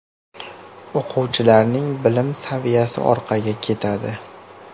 O‘quvchilarning bilim saviyasi orqaga ketadi.